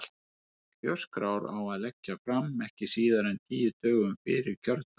Kjörskrár á að leggja fram ekki síðar en tíu dögum fyrir kjördag.